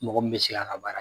Mɔgɔ m bɛ se k'a ka baara